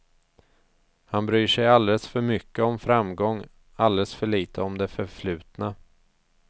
Han bryr sig alldeles för mycket om framgång, alldeles för litet om det förflutna.